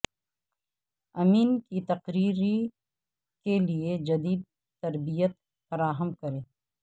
امین کی تقرری کے لئے جدید تربیت فراہم کریں